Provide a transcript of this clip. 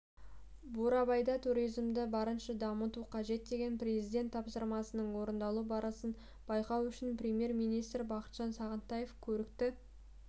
бурабайда туризмді барынша дамыту қажет деген президент тапсырмасының орындалу барысын байқау үшін премьер-министр бақытжан сағынтаев көрікті